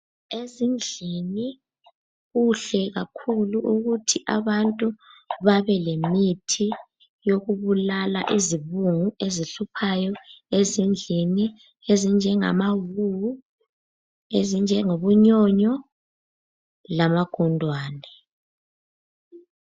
Ezindlini kuhle kakhulu ukuthi abantu babelemithi yokubulala izibungu ezihluphayo ezindlini ezinjengamawuwu, ezinjengobunyonyo lamagundwane.